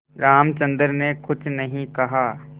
रामचंद्र ने कुछ नहीं कहा